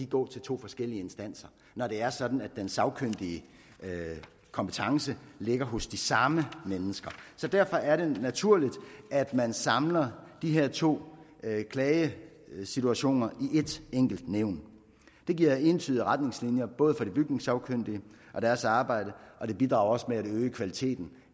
gå til to forskellige instanser når det er sådan at den sagkyndige kompetence ligger hos de samme mennesker derfor er det naturligt at man samler de her to klagesituationer i ét enkelt nævn det giver entydige retningslinjer både for de bygningssagkyndige og deres arbejde og det bidrager også til at øge kvaliteten